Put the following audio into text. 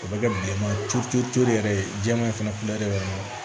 O bɛ kɛ bilenman ye tulu tulu yɛrɛ ye jɛman in fana